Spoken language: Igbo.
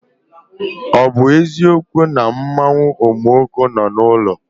Ọ bụ eziokwu na mmanwụ Omuoko nọ na ilo?